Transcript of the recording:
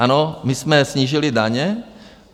Ano, my jsme snížili daně.